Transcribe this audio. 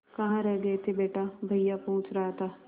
कहाँ रह गए थे बेटा भैया पूछ रहा था